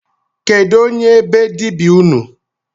Kedu onye be dibịa unu?